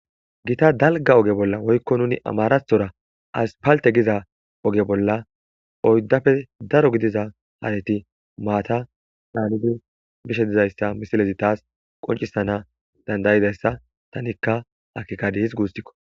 Gita dalga oge bolla woykko nuni amarathora as palte giza oge bolla oyddapfe daro gidiza haareti maata daanidi bishe dizayssa misilezi taas qoncisana dandayidayssa tanikka akkikadi his guustikko.